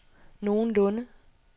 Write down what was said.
nogenlunde